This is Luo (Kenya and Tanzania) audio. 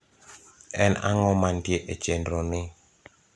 en ang`o mantie e chenro ni